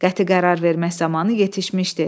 Qəti qərar vermək zamanı yetişmişdi.